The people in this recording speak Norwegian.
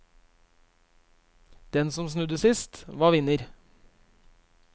Den som snudde sist, var vinner.